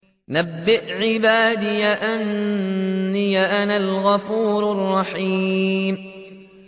۞ نَبِّئْ عِبَادِي أَنِّي أَنَا الْغَفُورُ الرَّحِيمُ